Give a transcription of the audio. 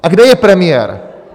A kde je premiér?